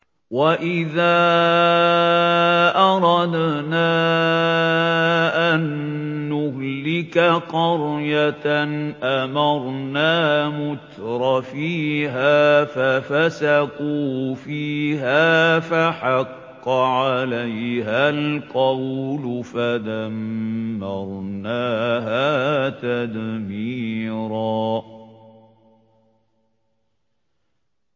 وَإِذَا أَرَدْنَا أَن نُّهْلِكَ قَرْيَةً أَمَرْنَا مُتْرَفِيهَا فَفَسَقُوا فِيهَا فَحَقَّ عَلَيْهَا الْقَوْلُ فَدَمَّرْنَاهَا تَدْمِيرًا